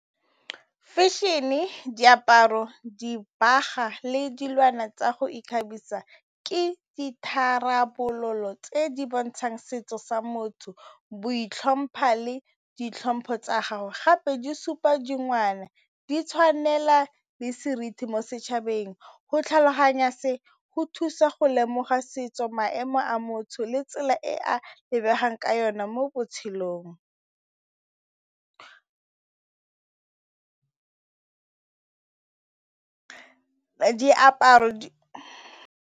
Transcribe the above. Fashion-e, diaparo, dibaga le dilwana tsa go ikgabisa ke ditharabololo tse di bontshang setso sa motho, boitlhompho le ditlhopho tsa gago gape di supa di tshwanela le seriti mo setšhabeng. Go tlhaloganya se go thusa go lemoga setso maemo a motho le tsela e e a lebegang ka yone mo botshelong, diaparo.